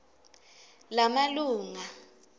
lamalunga